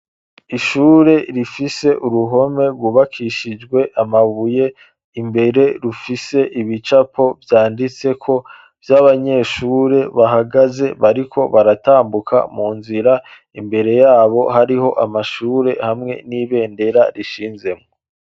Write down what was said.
Ishure rifise uruhome rwubakishijwe amabuye, imbere rufise ibicapo vyanditseko vy'abanyeshure bahagaze bariko baratambuka mu nzira, imbere yabo hariho amashure hamwe n'ibendera rishinzemwo.